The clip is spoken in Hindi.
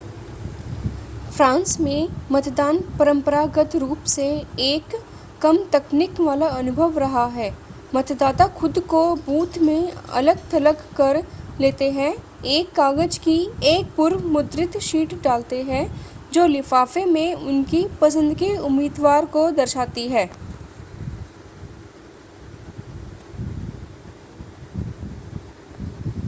फ्रांस में मतदान परंपरागत रूप से एक कम तकनीक वाला अनुभव रहा है मतदाता खुद को बूथ में अलग-थलग कर लेते हैं एक कागज की एक पूर्व-मुद्रित शीट डालते हैं जो लिफाफे में उनकी पसंद के उम्मीदवार को दर्शाती है